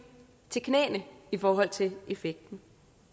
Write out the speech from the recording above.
til knæene i forhold til effekten